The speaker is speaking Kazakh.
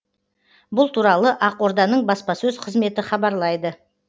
бұл туралы ақорданың баспасөз қызметі хабарлайды